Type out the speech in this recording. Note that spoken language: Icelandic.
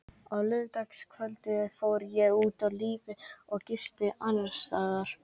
Á laugardagskvöldið fór ég út á lífið og gisti annarsstaðar.